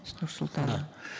с нур султана да